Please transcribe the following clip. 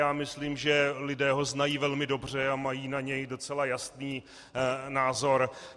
Já myslím, že lidé ho znají velmi dobře a mají na něj docela jasný názor.